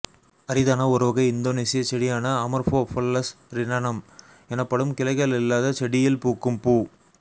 அரிதான ஒருவகை இந்தோனேசிய செடியான அமொர்ஃபோபல்லஸ் ரிரனம் எனப்படும் கிளைகள் இல்லாத செடியில் பூக்கும் பூ